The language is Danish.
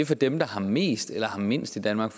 for dem der har mest eller mindst i danmark